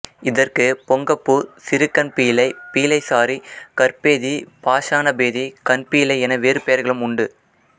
இதற்கு பொங்கப்பூ சிறுகண்பீளை பீளைசாறி கற்பேதி பாஷாணபேதி கண்பீளை என வேறு பெயர்களும் உண்டு